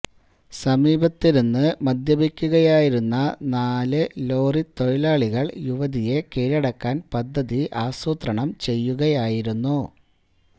സമീപത്തിരുന്ന് മദ്യപിക്കുകയായിരുന്ന നാല് ലോറിത്തൊഴിലാളികള് യുവതിയെ കീഴടക്കാന് പദ്ധതി ആസൂത്രണം ചെയ്യുകയായിരുന്നു